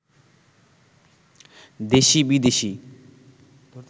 দেশি বিদেশি